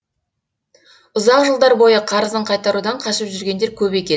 ұзақ жылдар бойы қарызын қайтарудан қашып жүргендер көп екен